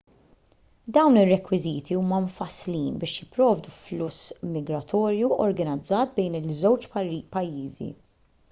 dawn ir-rekwiżiti huma mfasslin biex jipprovdu fluss migratorju organizzat bejn iż-żewġ pajjiżi